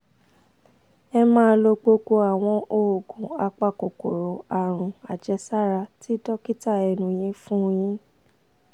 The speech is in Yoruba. ẹ máa lo gbogbo àwọn oògùn apakòkòrò àrùn-àjẹsára tí dókítà ẹ̀nu yin fún yín